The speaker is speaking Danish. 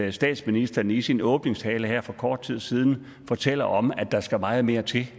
at statsministeren i sin åbningstale her for kort tid siden fortæller om at der skal meget mere til